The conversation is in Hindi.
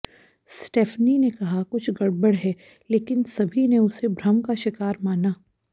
स्टेफ़नी ने कहा कुछ गड़बड़ है लेकिन सभी ने उसे भ्रम का शिकार माना